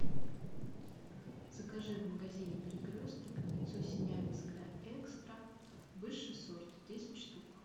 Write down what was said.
закажи в магазине перекресток яйцо синявинское экстра десять штук